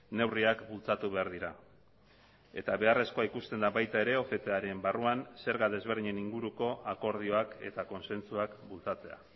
neurriak bultzatu behar dira eta beharrezkoa ikusten da baita ere octaren barruan zerga desberdinen inguruko akordioak eta kontzentzuak bultzatzea